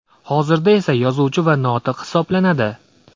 Hozirda esa yozuvchi va notiq hisoblanadi.